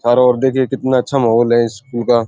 और देखिये कितना अच्छा माहौल है स्कूल का।